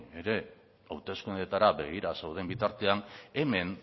ere hauteskundeetara begira zauden bitartean hemen